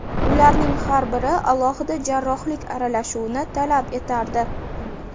Ularning har biri alohida jarrohlik aralashuvini talab etardi.